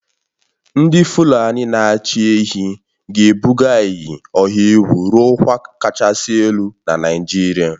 Ndị Fulani na-achị ehi ga-ebuga iyi ọha egwu ruo ọkwa kachasị elu na Naịjirịa